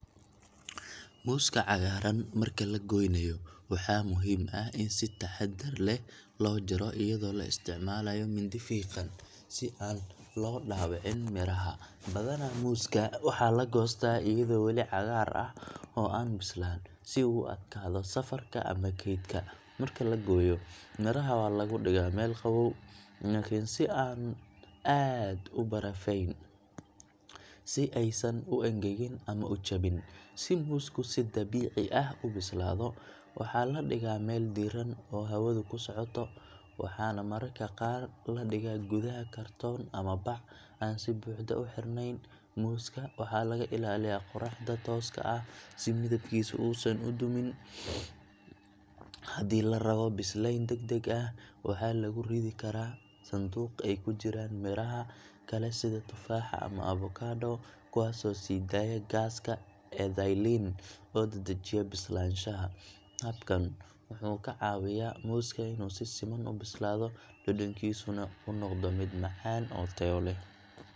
Muuska cagaaran marka la goynayo waxaa muhiim ah in si taxaddar leh loo jaro iyadoo la isticmaalayo mindi fiiqan, si aan loo dhaawicin midhaha. Badanaa muuska waxaa la goostaa iyadoo weli cagaar ah oo aan bislaan, si uu u adkaado safarka ama keydka. Marka la gooyo, miraha waxaa lagu dhigaa meel qabow laakiin aan aad u barafeysan, si aysan u engegin ama u jabin. Si muusku si dabiici ah u bislaado, waxaa la dhigaa meel diirran oo hawadu ku socoto, waxaana mararka qaar la dhigaa gudaha kartoon ama bac aan si buuxda u xirnayn. Muuska waxaa laga ilaaliyaa qorraxda tooska ah si midabkiisu uusan u dumin. Haddii la rabo bislayn degdeg ah, waxaa lagu ridi karaa sanduuq ay ku jiraan miraha kale sida tufaaxa ama avocado, kuwaasoo sii daaya gaaska ethylene oo dedejiya bislaanshaha. Habkan wuxuu ka caawiyaa muuska inuu si siman u bislaado, dhadhankiisuna u noqdo mid macaan oo tayo leh.